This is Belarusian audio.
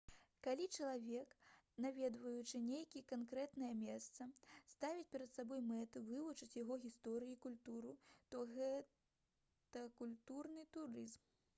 калі чалавек наведваючы нейкае канкрэтнае месца ставіць перад сабой мэту вывучыць яго гісторыю і культуру то гэта культурны турызм